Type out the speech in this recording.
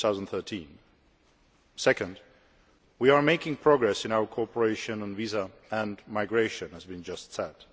2013. Second, we are making progress in our cooperation on visas and migration, as we just said.